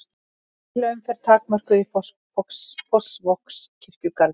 Bílaumferð takmörkuð í Fossvogskirkjugarði